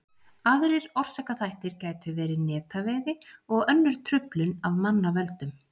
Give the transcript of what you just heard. aðrir orsakaþættir gætu verið netaveiði og önnur truflun af mannavöldum